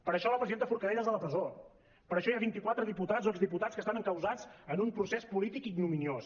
per això la presidenta forcadell és a la presó per això hi ha vinti quatre diputats o exdiputats que estan encausats en un procés polític ignominiós